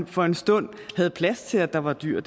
for en stund havde plads til at der var dyr